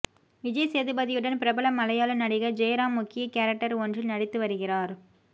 விஜய்சேதுபதியுடன் பிரபல மலையாள நடிகர் ஜெயராம் முக்கிய கேரக்டர் ஒன்றில் நடித்து வருகிறார்